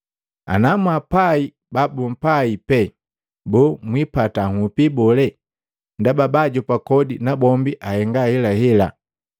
Ana mwaapai babumpai pee, boo, mwiipata nhupi bole? Ndaba baajopa kodi nabombi ahenga ahelahela!